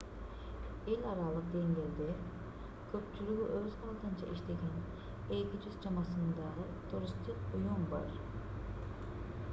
эл аралык деңгээлде көпчүлүгү өз алдынча иштеген 200 чамасындагы туристтик уюм бар